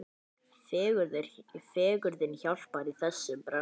Fegurðin hjálpar í þessum bransa.